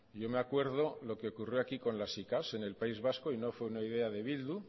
yo me acuerdo lo que ocurrió aquí con las sicav en el país vasco y no fue una idea de bildu